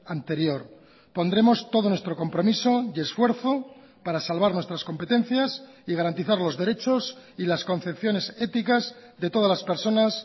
anterior pondremos todo nuestro compromiso y esfuerzo para salvar nuestras competencias y garantizar los derechos y las concepciones éticas de todas las personas